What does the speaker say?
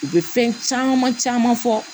U bɛ fɛn caman caman fɔ